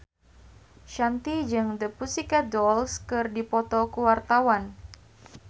Shanti jeung The Pussycat Dolls keur dipoto ku wartawan